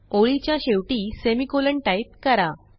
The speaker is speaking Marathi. ओळीच्या शेवटी सेमिकोलॉन टाईप करा